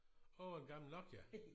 Åh en gammel Nokia